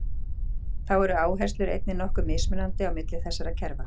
Þá eru áherslur einnig nokkuð mismunandi á milli þessara kerfa.